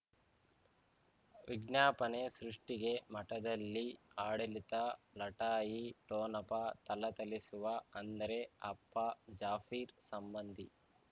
ವಿಜ್ಞಾಪನೆ ಸೃಷ್ಟಿಗೆ ಮಠದಲ್ಲಿ ಆಡಳಿತ ಲಢಾಯಿ ಠೊಣಪ ಥಳಥಳಿಸುವ ಅಂದರೆ ಅಪ್ಪ ಜಾಫಿರ್ ಸಂಬಂಧಿ